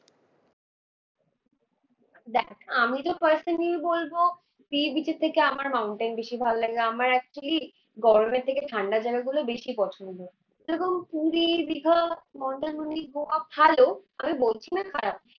দেখ আমি তো ফাষ্টেই বলবো sea beach এর থেকে আমার mountain বেশি ভালো লাগে। আমার actually গরমের থেকে ঠান্ডা জায়গা গুলো বেশি পছন্দ। যেমন পুরী, দিঘা, মন্দারমণি, গোয়া ভালো আমি বলছি না খারাপ।